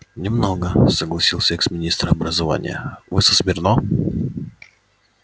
не много согласился экс-министр образования вы со смирно